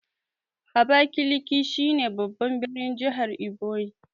Abakiliki shi ne babban birnin jahar Ebonyi